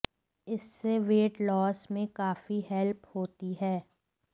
इससे weight loss में काफी हेल्प होती है